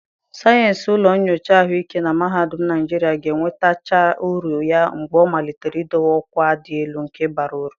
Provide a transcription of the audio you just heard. Sayensị ụlọ nyocha ahụike na mahadum Naijiria ga-enwetaghachi uru ya mgbe ọ malitere idowe ọkwa dị elu nke bara uru.